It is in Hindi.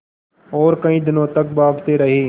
और कई दिनों तक भागते रहे